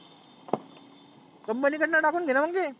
company कडुन टाकुन घेना मग ते.